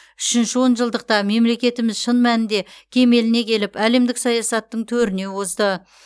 үшінші он жылдықта мемлекетіміз шын мәнінде кемеліне келіп әлемдік саясаттың төріне озды